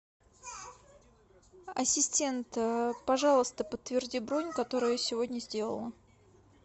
ассистент пожалуйста подтверди бронь которую я сегодня сделала